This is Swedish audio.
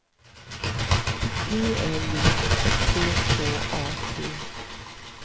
P L O C K A T